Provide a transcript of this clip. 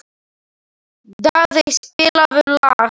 Daðey, spilaðu lag.